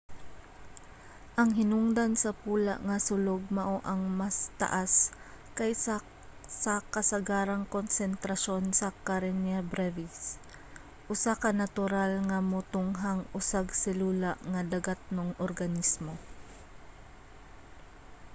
ang hinungdan sa pula nga sulog mao ang mas taas kaysa sa kasagarang konsentrasyon sa karenia brevis usa ka natural nga motunghang usag-selula nga dagatnong organismo